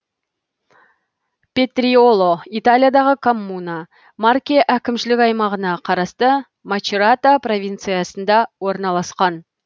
петриоло италиядағы коммуна марке әкімшілік аймағына қарасты мачерата провинциясында орналасқан